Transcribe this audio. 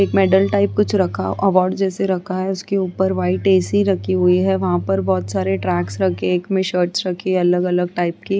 एक medal type कुछ रखा अवार्ड जैसा कुछ रखा है उसके उपर वाइट ए.सी. रखी हुई है वहाँ पर बहुत सारे ट्रक्स रखें हैं एक में शर्ट्स रखी हैं अलग-अलग टाइप की।